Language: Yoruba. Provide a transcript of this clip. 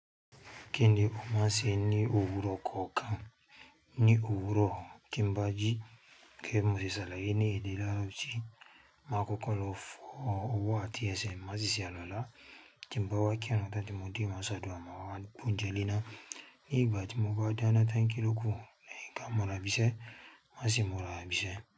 Kí ni o máa ṣe ní òwúrọ̀ kọ̀ọ̀kan? Ní òwúrọ̀, tíń bá ji kí gege bi moseṣe àlàyé ní ìdílé ààlọ́ ti máa kó kọ́ lófo owó àti ẹsẹ̀ má sì ṣe àluwalà. Tíń bá wá kírun tán tí mode, má ṣe adùa, má wá gbe onjẹ lenan. Leyin ìgbà tí mo bá dáná tán kí ló kú, leyin ka mura ibísẹ́, máa sì múra bi ísẹ́